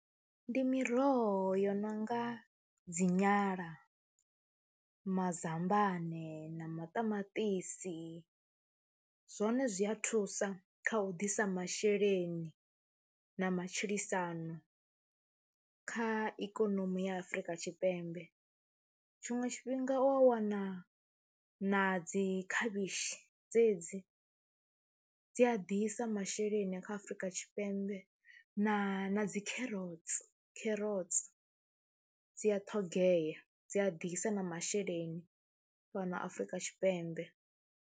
Ndi miroho yo no nga dzi nyala, mazambane na maṱamaṱisi, zwone zwi a thusa kha u ḓisa masheleni na matshilisano kha ikonomi ya Afrika Tshipembe. tshiṅwe tshifhinga u wa wana na dzi khavhishi dzedzi, dzi a ḓisa masheleni ine kha Afrika Tshipembe na dzi kherotsi kherotsi dzi a ṱhogea, dzi a ḓisa na masheleni fhano Afrika Tshipembe.